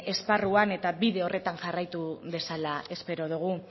esparruan eta bide horretan jarraitu dezala espero dugu